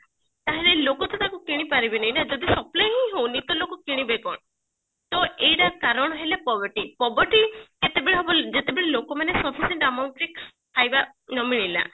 ତାହେଲେ ଲୋକ ତ ତାକୁ କିଣି ପାରିବେନି ନା ଯଦି supply ହିଁ ହଉନି ତ ଲୋକ କିଣିବେ କଣ ତ ଏଇଟା କାରଣ ହେଲା probity probity ଯେତେବେଳେ ଯେତେବେଲଳେ ଲୋକ ମାନେ ସମସ୍ତେ ଖାଇବା ନ ମିଳିଲା